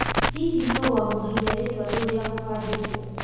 Hihi nũũ wamũheire rĩtwa rĩu rĩa gũbandĩkwo ?